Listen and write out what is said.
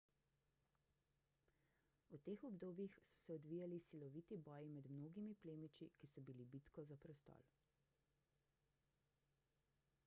v teh obdobjih so se odvijali siloviti boji med mnogimi plemiči ki so bili bitko za prestol